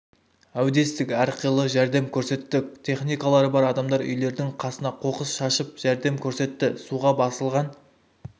әудестік әрқилы жәрдем көрсеттік техникалары бар адамдар үйлердің қасына қоқыс шашып жәрдем көрсетті суға басылған